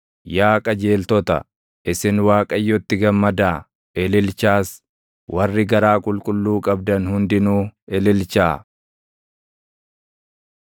Yaa qajeeltota, isin Waaqayyotti gammadaa; ililchaas; warri garaa qulqulluu qabdan hundinuu ililchaa.